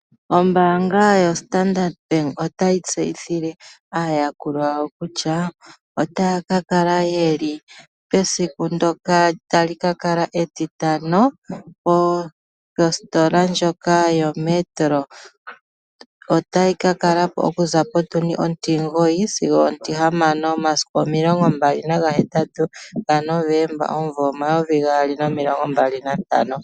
Ombaanga yoStandard Bank otayi tseyithile aayakulwa yawo kutya otaya ka kala yeli pesiku ndoka tali ka kala etitano kositola ndjoka yoMetro, otayi ka kala ko okuza potundi ontimugoyi sigo ontihamano, momasiku 28 gaNovemba 2025.